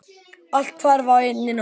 Allt hvarf á einni nóttu.